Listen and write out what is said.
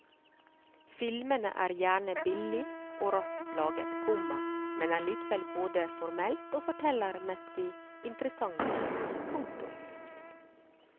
Filmene er gjerne billig og raskt laget, komma men er likevel både formelt og fortellermessig interessante. punktum